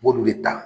N b'olu de ta